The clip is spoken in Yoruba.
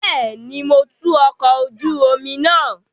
Bẹẹni, Mo tú ọkọ oju omi naa